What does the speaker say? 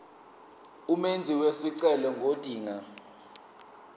umenzi wesicelo ngodinga